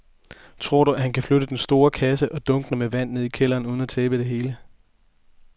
Tror du, at han kan flytte den store kasse og dunkene med vand ned i kælderen uden at tabe det hele?